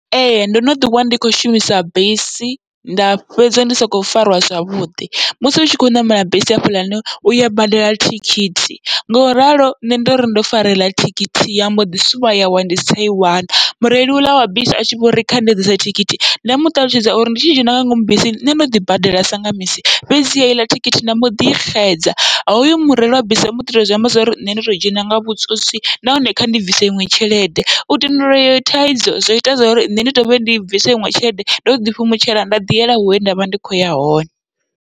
Ee ndo no ḓi wana ndi kho shumisa bisi nda fhedza ndi soko farwa zwavhuḓi, musi utshi kho ṋamela bisi hafhaḽani uya badela thikhithi ngoralo nṋe ndori ndo fara iḽa thikhithi ya mboḓi suvha yawa ndi si tsha i wana, mureili uḽa wa bisi atshi vhori kha ndi ḓise thikhithi nda muṱalutshedza uri ndi tshi dzhena nga ngomu bisini nṋe ndo ḓi badela sanga misi. Fhedziha heiḽa thikhithi nda mboḓi I xedza houḽani mureili wa bisi omboḓi to zwi amba zwori nṋe ndo to dzhena nga vhutswotswi, nahone kha ndi bvise iṅwe tshelede u tandulula iyi thaidzo, zwo ita zwori nṋe ndi dovhe ndi bvise iṅwe tshelede ndo ḓi fhumutshela nda ḓi yela hune ndavha ndi kho ya hone.